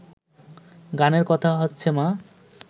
গানের কথা হচ্ছে মা